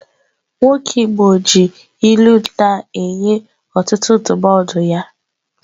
Nwoke igbo ji ilu na-enye ọtụtụ ndụmọdụ ya